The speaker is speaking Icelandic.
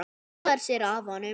Hún hallar sér að honum.